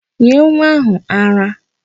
Nye nwa áhụ̀ ara!